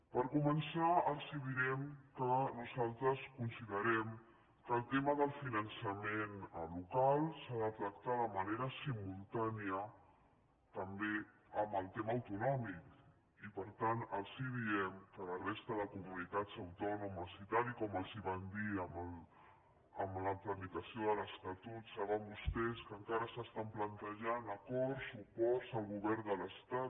per començar els direm que nosaltres considerem que el tema del finançament local s’ha de tractar de manera simultània també amb el tema autonòmic i per tant els diem que la resta de comunitats autònomes i tal com els van dir en la tramitació de l’estatut saben vostès que encara s’estan plantejant acords suports al govern de l’estat